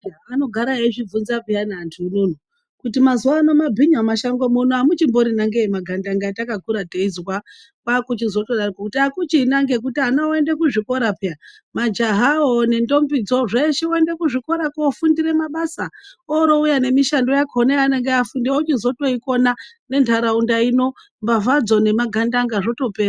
Anogara eizvivhinza peyani antu unono kuti mazuwano mabhinya mumashango muno amuchimbirina ngeiyi magandanga atakakura teizwa kwakuchizotodaroko kuti akuchena ngekuti ana oende kuzvikora peya majahawo nendombidzo zveshe voemda kuzvikora kofundira mabasa orouya nemishando yakona yavanenge afundira ochizotoikona nentaraunda ino mbavhadzo nemagandanga zvotopera.